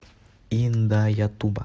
индаятуба